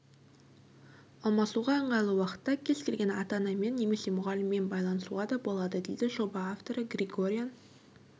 алмасуға ыңғайлы уақытта кез келген ата-анамен немесе мұғаліммен байланысуға да болады дейді жоба авторы григорян